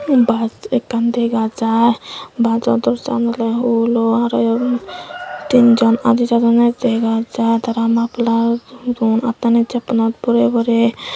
mm bus ekkan dega jai bus jo door ja an ole hulo arw yot tin jon aadi jadonne dega jai tara muffler don attani jelpunot borey borey.